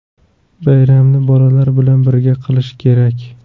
Bayramni bolalar bilan birga qilish kerak.